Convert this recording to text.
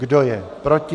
Kdo je proti?